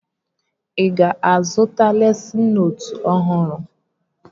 Ị ga-azụta lesịn nootu ọhụrụ?